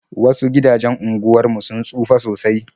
Wasu gidajen unguwar mu sun tsufa sosai.